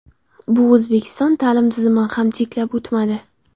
Bu O‘zbekiston ta’lim tizimini ham chetlab o‘tmadi.